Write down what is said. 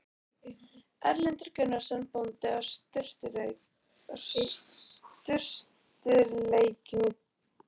Erlendur Gunnarsson bóndi á Sturlureykjum í